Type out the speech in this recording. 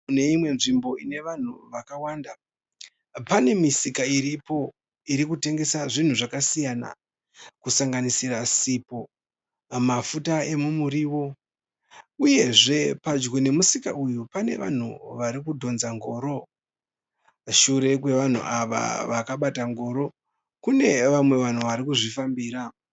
Mune imwe nzvimbo ine vanhu vakawanda. Pane misika iripo irikutengesa zvinhu zvakasiyana kusanganisira sipo mafuta emumurio uyezve padyo nemisika uyu pane vanhu varikudhonza ngoro. Shure kwevanhu ava vakabata ngoro kune vamwe vanhu varikuzvifambira.